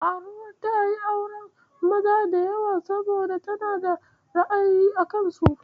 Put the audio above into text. Karuwar ta a yin auren maza da yawa saboda tana da ra'ayi a kansa.